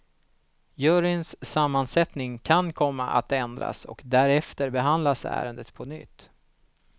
Juryns sammansättning kan komma att ändras och därefter behandlas ärendet på nytt.